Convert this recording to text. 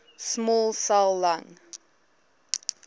small cell lung